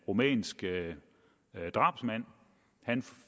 rumænsk drabsmand han